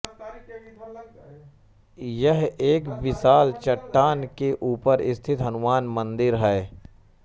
यह एक विशाल चट्टान के ऊपर स्थित हनुमान मंदिर है